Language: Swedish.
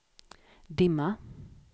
dimma